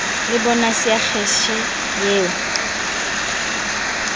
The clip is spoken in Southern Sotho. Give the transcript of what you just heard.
le bonase ya kheshe eo